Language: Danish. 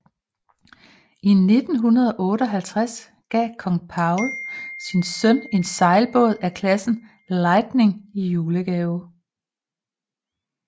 I 1958 gav kong Paul sin søn en sejlbåd af klassen Lightning i julegave